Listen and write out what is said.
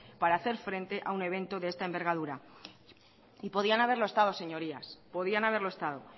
para hacer frente a un evento de esta envergadura y podían haberlo estado señorías podían haberlo estado